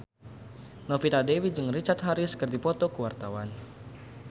Novita Dewi jeung Richard Harris keur dipoto ku wartawan